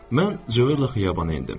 Mən Jorla xiyabana endim.